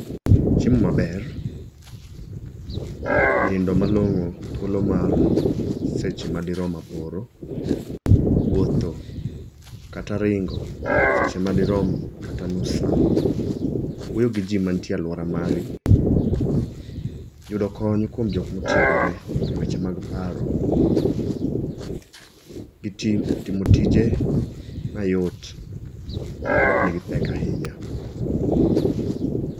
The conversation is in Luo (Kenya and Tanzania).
Chiemo maber, nindo malong'o thuolo mar seche madirom aboro, wuotho kata ringo seche madirom kata nus sa, wuoyo gi ji mantie e alwora mari, yudo kony kuom jogo motiegore e weche mag paro, gitimo tije mayot moknigi pek ahinya.